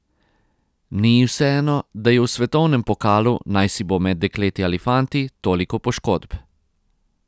Ni ji vseeno, da je v svetovnem pokalu, naj si bo med dekleti ali fanti, toliko poškodb.